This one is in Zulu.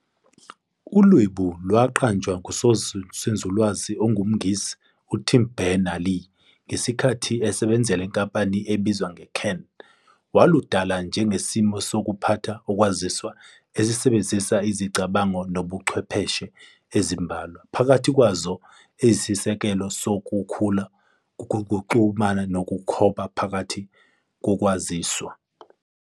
ULwebu lwaqanjwa ngusonzululwazi ongumNgisi uTim Benners-Lee ngesikhathi esebenzela inkampani ebizwa CERN. Waludala njengesimiso sokuphatha ukwaziswa esisebenzisa izicabango nezobuChwepheshe ezimbalwa, phakathi kwazo eziyisisekelo kakhulu kungukuxhumana okukhoba phakathi kokwaziswa.